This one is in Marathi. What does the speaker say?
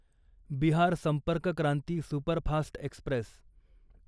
Bihar Sampark Kranti superfast Express